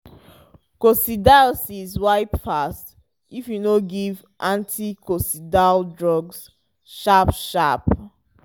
coccidiosis wipe fast if you no give anticoccidial drug sharp-sharp.